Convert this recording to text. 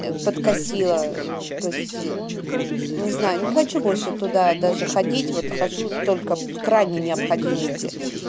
подкосило то есть не знаю не хочу больше туда даже ходить вот хожу только в крайней необходимости